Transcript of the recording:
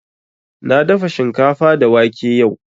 Na dafa shinkafa da wake yau